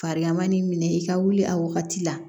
Farigan nin minɛ i ka wuli a wagati la